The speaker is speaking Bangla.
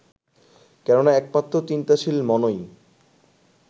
কেননা একমাত্র চিন্তাশীল মনই